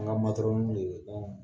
An ka w yeere dama